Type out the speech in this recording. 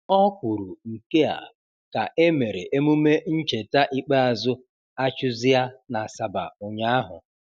Ọ kwuru nke a ka e mere emume ncheta ikpeazụ Achụzịa n'Asaba ụnyaahụ.